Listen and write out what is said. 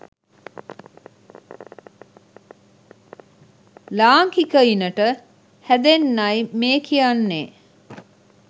ලාංකිකයිනට හැදෙන්නයි මේ කියන්නේ